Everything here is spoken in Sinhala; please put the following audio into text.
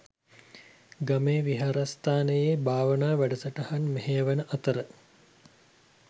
ගමේ විහාරස්ථානයේ භාවනා වැඩසටහන් මෙහෙයවන අතර